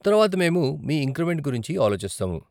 తరువాత మేము మీ ఇంక్రిమెంట్ గురించి ఆలోచిస్తాము.